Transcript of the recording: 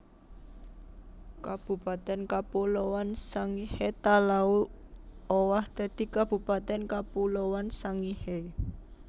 Kabupatèn Kapuloan Sangihe Talaud owah dadi Kabupatèn Kapuloan Sangihe